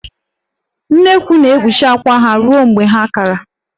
Nnekwu na-ekpuchi akwà ya ruo mgbe ha kara.